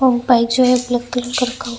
वो बाइक जो है ब्लैक कलर का रखा--